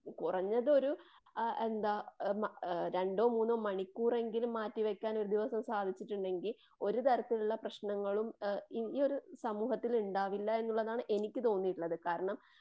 കുറഞ്ഞതൊരു എന്താ ഹ് രണ്ടോ മൂന്നോ മണിക്കൂറെങ്കിലും മാറ്റിവെക്കാൻ ഒരു ദിവസം സാധിച്ചിട്ടുണ്ടെങ്കിൽ ഒരു തരത്തിലുള്ള പ്രശ്നങ്ങളും ഏഹ് ഈയൊരു സമൂഹത്തില് ഇണ്ടാവില്ല എന്നുള്ളതാണ് എനിക്ക് തോന്നിയിട്ടുള്ളത്. കാരണം.